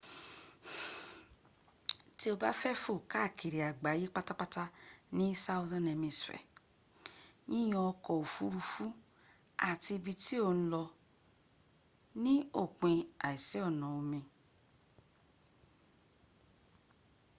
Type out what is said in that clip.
tí o bá fẹ fò káàkiri àgbáyè pátápátá ní southern hemishere yíyan ọka òfurufú àti ibi tí ò ǹ lọ ní òpin àìsí ọ̀nà omi